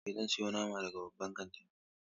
Eh, zan siyo nama daga babban kantin.